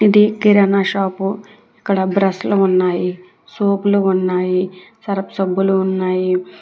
ఇది కిరాణా షాపు ఇక్కడ బ్రషులు ఉన్నాయి సోపులు ఉన్నాయి సర్ఫ్ సబ్బులు ఉన్నాయి.